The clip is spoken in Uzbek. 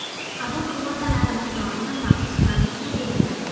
Qabul kvotalari miqdorini maxsus komissiya belgilaydi.